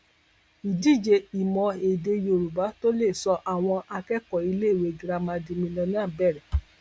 ìdíje ìmọ èdè yorùbá tó lè sọ àwọn akẹkọọ iléèwé girama di mílíọnà bẹrẹ